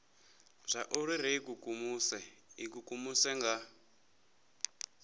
zwauri ri ikukumuse ikukumusa nga